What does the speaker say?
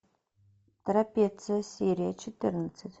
трапеция серия четырнадцать